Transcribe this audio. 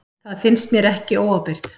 Það finnst mér ekki óábyrgt.